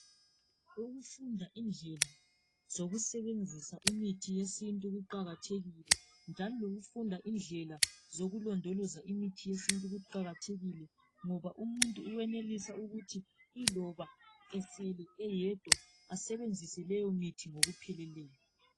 Ukufunda indlela zokusebenzisa imithi yesintu kuqakathekile njalo lokufunda indlela zokulondoloza imithi yesintu kuqakathekile ngoba umuntu uwenelisa ukuthi yiloba esele eyedwa asebenzise leyo mithi ngokupheleleyo.